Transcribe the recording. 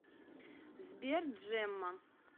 сбер джемма